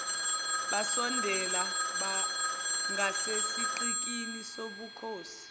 basondela ngasesigqikini sobukhosi